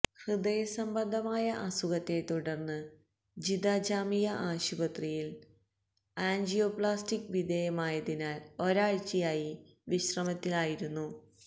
ഹൃദയ സംബന്ധമായ അസുഖത്തെ തുടർന്ന് ജിദ്ദ ജാമിയ ആശുപത്രിയിൽ ആൻജിയോപ്ളാസ്റ്റിക്ക് വിധേമായതിനാൽ ഒരാഴ്ചയായി വിശ്രമത്തിലായിരുന്നു